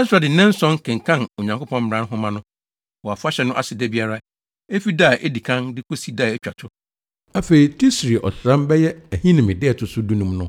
Ɛsra de nnanson kenkan Onyankopɔn mmara nhoma no wɔ afahyɛ no ase da biara, efi da a edi kan de kosi da a etwa to. Afei, Tisri ɔsram (bɛyɛ Ahinime) da a ɛto so dunum no,